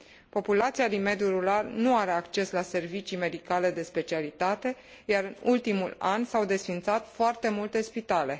Populația din mediul rural nu are acces la servicii medicale de specialitate, iar în ultimul an s au desființat foarte multe spitale.